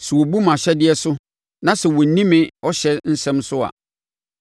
sɛ wɔbu mʼahyɛdeɛ so na sɛ wɔanni me ɔhyɛ nsɛm so a,